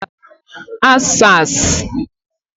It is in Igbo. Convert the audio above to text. Answers